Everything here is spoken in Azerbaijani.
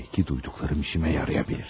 Bəlkə eşitdiklərim işimə yarayar.